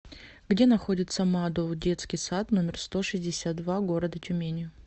где находится мадоу детский сад номер сто шестьдесят два города тюмени